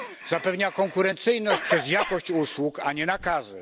Zapewnia konkurencyjność dzięki jakości usług, a nie nakazów.